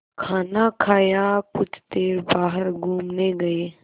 खाना खाया कुछ देर बाहर घूमने गए